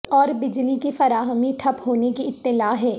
اور بجلی کی فراہمی ٹھپ ہونے کی اطلاع ہے